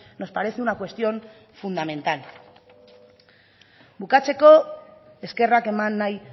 nos parece una cuestión fundamental bukatzeko eskerrak eman nahi